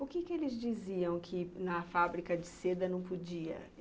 O que que eles diziam que na fábrica de seda não podia?